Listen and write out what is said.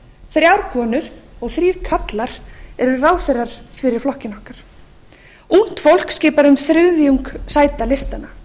þrjár konur og þrír karlar eru ráðherrar fyrir flokkinn okkar ungt fólk skipar um þriðjung sæta listanna